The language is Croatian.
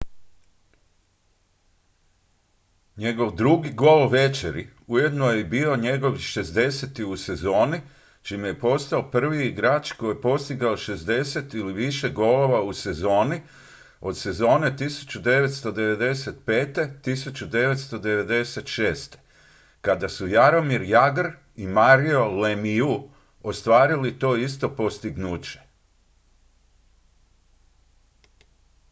njegov drugi gol večeri ujedno je bio i njegov 60. u sezoni čime je postao prvi igrač koji je postigao 60 ili više golova u sezoni od sezone 1995./1996. kada su jaromir jagr i mario lemieux ostvarili to isto postignuće